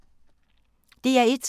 DR1